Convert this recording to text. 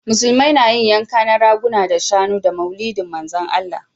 Musulmai na yin yanka na raguna da shanu da maulidi manzan allah